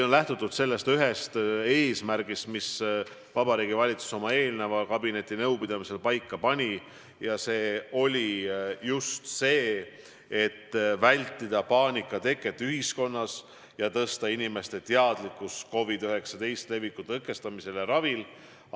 Lähtutud on sellest ühest eesmärgist, mis Vabariigi Valitsus eelmisel kabinetinõupidamisel paika pani: tuleb vältida paanika teket ühiskonnas ja tõsta inimeste teadlikkust COVID-19 leviku tõkestamisel ja ravil.